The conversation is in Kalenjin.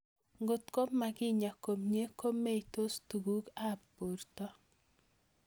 Kotko makinyaa komie ko meitos tug'uk ab porto